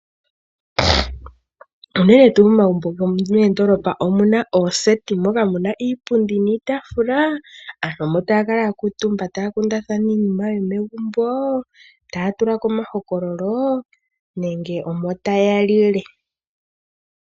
Unene tuu momagumbo gomondoolopa omuna ooseti moka muna iipundi niitaafula. Aantu omo taya kala ya kuutumba taya kundathana iinima yomegumbo, taya tula ko omahokololo nenge omo taya lile.